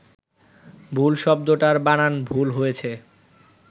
ভুল শব্দটার বানান ভুল হয়েছে